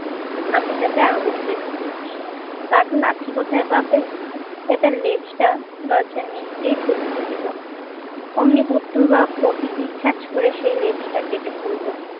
আমি তাতে আগুন বেঁধে দিচ্ছি। বাঘ লাঠি কোথায় পাবে তাই তার লেজটা দরজার নিচ দিয়ে ঢুকিয়ে দিল। অমনি বুদ্ধর বাপ বটি দিয়ে খ্যাঁচ করে সেই লেজটা কেটে ফেললো।